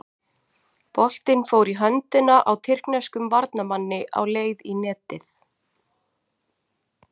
Boltinn fór í höndina á tyrkneskum varnarmanni á leið í netið.